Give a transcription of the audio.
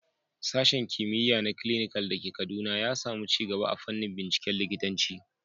Sashen Kimiyya na Clinical da ke Kaduna ya samu ci gaba a fannin binciken likitanci.